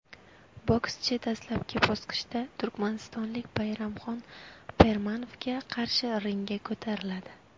Bokschi dastlabki bosqichda turkmanistonlik Bayramxon Permanovga qarshi ringga ko‘tariladi.